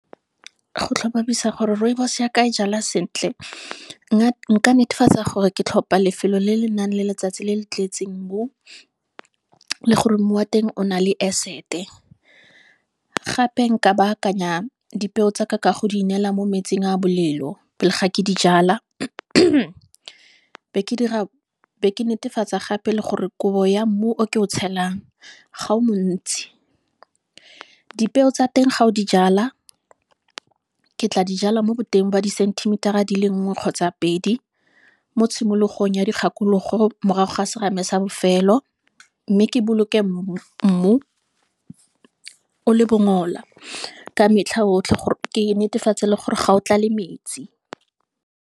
Go tlhomamisa gore rooibos ya ka e jalwa sentle, nka netefatsa gore ke tlhopa lefelo le le nang le letsatsi le le tletseng mmu, le gore mmu wa teng o na le acid-e, gape nka baakanya dipeo tsaka ka go di inela mo metsing a bolelo, pele ga ke dijala be ke netefatsa gape le gore kobo ya mmu o ke o tshelang ga o montsi. Dipeo tsa teng ga o di jala, ke tla dijala mo boteng ba di-centimeter-a dile nngwe kgotsa pedi, mo tshimologong ya dikgakologo morago ga serame sa bofelo, mme ke boloke mmu, o le bongola, ka metlha otlhe gore ke netefatse le gore ga o tlale metsi.